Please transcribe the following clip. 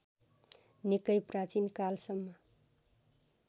निकै प्राचीनकालसम्म